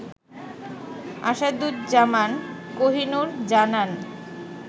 আসাদুজ্জামান কোহিনুর জানান